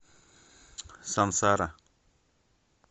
сансара